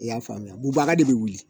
E y'a faamuya bubaga de bɛ wuli